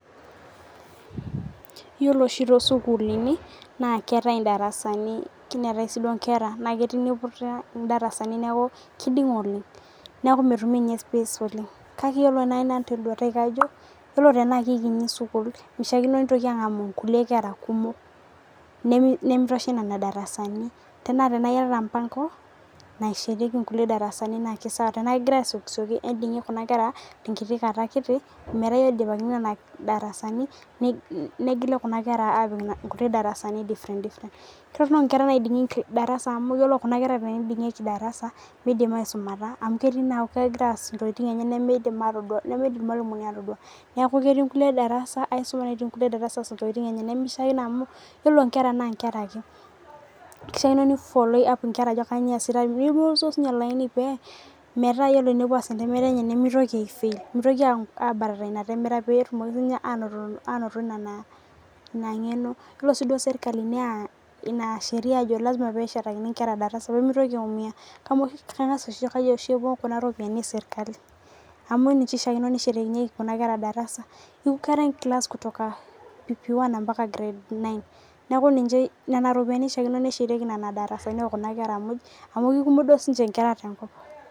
Iyiolo oshii too sukuluni naa keetai oshii darasa ni neetae inkera naa kelo niputa idarasani neeku kiding'a oleng' neeku metumi ninye. space oleng' kake iyiolo naji nanu te duata ai naa iyiolo tena kikiti sukul mishaikino nitoki anga'amu nkulie kera kumok nemiitoshea nena darasanj tenaa iyatata mpango naishetiki nkulie darasa ni naa kei sawa tenagira asiokisioki edingie kuna ker tenkiti kata kiti nmeeta kidipankini kuna darasanj negilo kuna kera apik idarasani different kitoronok inkera naidingieki darasa amu ore tenidingieki darasa meidim aisumata mauj ketii nekuu kegira aass intokitin enye nemeidim irmalimuni atodua neeku keeti inkulie darasa aisuma neeti inkulie darasa aasa intokin enye nemishakino amuu iyiolo nkera naa nkera ake kishaikino nesuji nkira pibung olaiini pee oree pee epuo aas entemata enye nemitoki aii fail mitoki aii batata ina temata. Pee etumoki sii ninche anoto ina ngeno iyiolo sii duo serikali neya ina sheria ajo lasima pee eshaetakini inkera darasa pemitoki aiumia amu kengas kaji oshi epuo kuna ropiani ee serikali amuu ninche eshaikino neshatakinyeki kuna kera darasa kila Class kutoka pp1 mpaka grade nine neeku nena ropiani eshaikino neshetieki nena darasanj oo kuna kera muj amu kikumok duo sii ninche inkera te nkop.